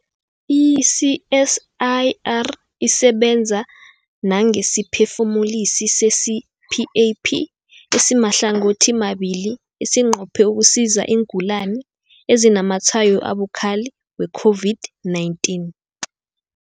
I-CSIR isebenza nangesiphefumulisi se-CPAP esimahlangothimabili esinqophe ukusiza iingulani ezinazamatshwayo abukhali we-COVID-19.